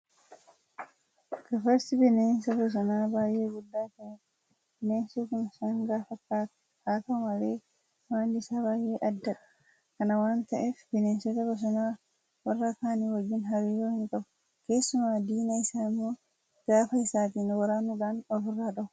Gafarsi bineensa bosonaa baay'ee guddaa ta'edha. Bineensi kun sangaa fakkaata. Haa ta'u malee amalli isaa baay'ee addadha. Kana waanta ta'eef bineensota bosonaa warra kaan wajjin hariiroo hinqabu. Keessumaa diina isaa immoo gaafa isaatiin waraanuudhaan ofirraa dhoowwa.